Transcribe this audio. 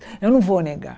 Eu não vou negar.